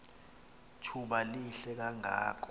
thuba lihle kangako